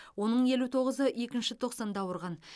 оның елу тоғызы екінші тоқсанда ауырған